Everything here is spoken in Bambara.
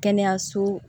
Kɛnɛyaso